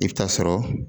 I bɛ taa sɔrɔ